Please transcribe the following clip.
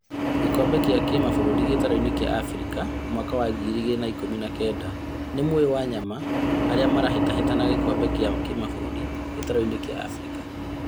Gĩkombe gĩa kĩmabũrũri gĩtaro-inĩ kĩa Afrika mwaka wa ngiri igĩrĩ ikũmi na kenda, nĩũmũĩ "Wanyama" aria marahĩtahĩtana gĩkombe gĩa kĩmabũrũri gĩtaro-inĩ kĩa Afrika